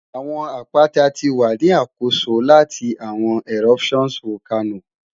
Awọn apata ti wa ni akoso lati awọn eruptions Volcano